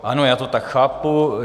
Ano, já to tak chápu.